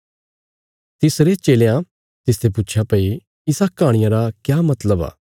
तिसरे चेलयां तिसते पुच्छया भई इस कहाणिया रा क्या मतलब आ